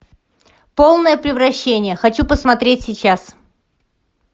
полное превращение хочу посмотреть сейчас